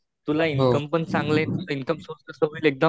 तुला इनकम पण चांगला, तुझा इनकम सोर्स कसा होईल एक्दम